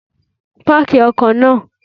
Páàkì ọkọ naa